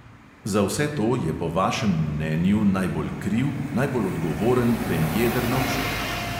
Za vse to je po vašem mnenju najbolj kriv, najbolj odgovoren premje drnovšek.